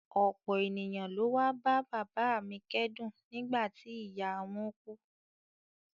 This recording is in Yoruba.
Ọ̀pọ̀ ènìyàn ló wá bá bàbá a mi kẹ́dùn nígbà tí ìyá a wọ́n kú